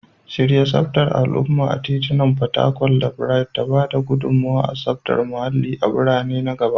Shirya tsaftar al'umma a titunan fatakwal da Bright da ba da gudummawa ga tsaftar muhallin birane na gaba.